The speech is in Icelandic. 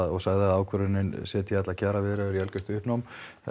og sagði að ákvörðunin setji alla kjaraviðræður í uppnám